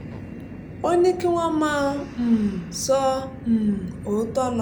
ó ní kí wọ́n máa um sọ um òótọ́ lọ